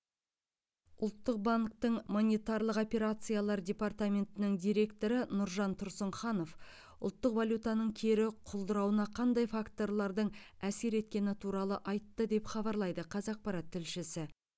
ұлттық банктің монетарлық операциялар департаментінің директоры нұржан тұрсынханов ұлттық валютаның кері құлдырауына қандай факторлардың әсер еткені туралы айтты деп хабарлайды қазақпарат тілшісі